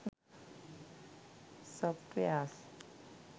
softwares